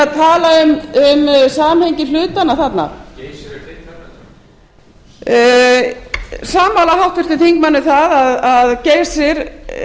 að tala um samhengi hlutanna þarna ég er sammála háttvirtum þingmanni um að geysir